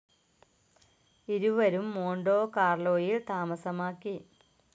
ഇരുവരും മോണ്ടോ കാർലോയിൽ താമസമാക്കി.